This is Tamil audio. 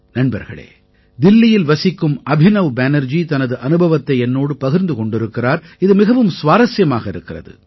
நண்பர்களே தில்லியில் வசிக்கும் அபினவ் பேனர்ஜி தனது அனுபவத்தை என்னோடு பகிர்ந்து கொண்டிருக்கிறார் இது மிகவும் சுவாரசியமாக இருக்கிறது